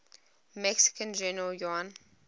mexican general juan